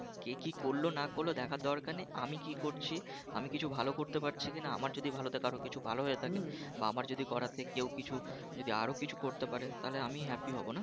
কে কি করলো না করলো দেখার দরকার নেই আমি কী করছি আমি কিছু ভালো করতে পারছি কিনা আমার যদি কিছু ভালোতে কারর কিছু ভালো হয়ে থাকে বা আমার যদি করাতে কেউ যদি কিছু আরও কিছু করতে পারে তাহলে আমি happy হব না? বলতে পারবো হ্যাঁ